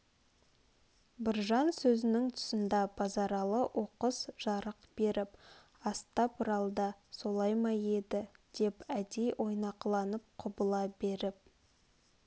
біржан сөзнің тұсында базаралы оқыс жарқ беріп астапралда солай ма еді деп әдей ойнақыланып құбыла беріп